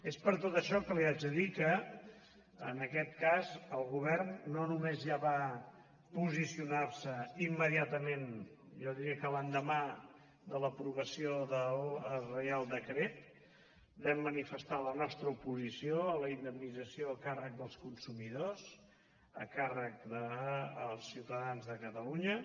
és per tot això que li haig de dir que en aquest cas el govern no només ja va posicionarse immediatament jo diria que l’endemà de l’aprovació del reial decret vam manifestar la nostra oposició a la indemnització a càrrec dels consumidors a càrrec dels ciutadans de catalunya